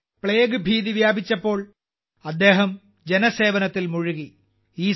അവിടെ പ്ലേഗ് ഭീതി വ്യാപിച്ചപ്പോൾ അദ്ദേഹം ജനസേവനത്തിൽ മുഴുകി